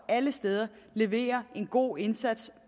alle steder leverer en god indsats